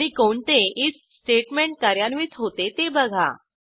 आणि कोणते IF statement कार्यान्वित होते ते बघा